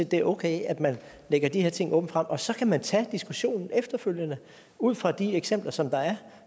det er okay at man lægger de her ting åbent frem og så kan man tage diskussionen efterfølgende ud fra de eksempler som der er